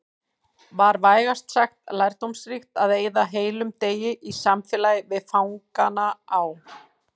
Var vægast sagt lærdómsríkt að eyða heilum degi í samfélagi við fangana á